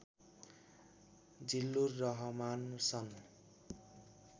जिल्लुर रहमान सन्